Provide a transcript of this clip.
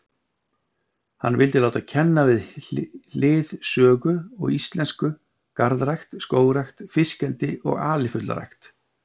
Hann vildi láta kenna við hlið sögu og íslensku garðrækt, skógrækt, fiskeldi og alifuglarækt.